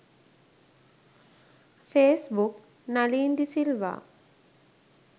face book nalin de silva